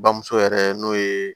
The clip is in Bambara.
Bamuso yɛrɛ n'o ye